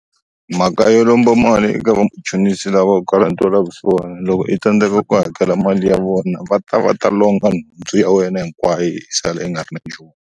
Mhaka yo lomba mali eka vamachonisa lava vo ka va nga na ntwela vusiwana loko i tsandeka ku hakela mali ya vona va ta va ta longa nundzhu ya wena hinkwayo u sala i nga ri na nchumu.